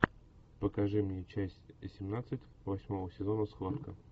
покажи мне часть семнадцать восьмого сезона схватка